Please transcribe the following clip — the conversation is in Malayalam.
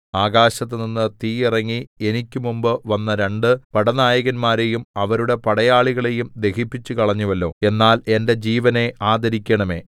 ആകാശത്തുനിന്ന് തീ ഇറങ്ങി എനിക്ക് മുമ്പ് വന്ന രണ്ട് പടനായകന്മാരേയും അവരുടെ പടയാളികളേയും ദഹിപ്പിച്ചുകളഞ്ഞുവല്ലോ എന്നാൽ എന്റെ ജീവനെ ആദരിക്കണമേ